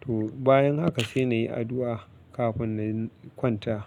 To bayan haka sai na yi addu'a kafin na kwanta.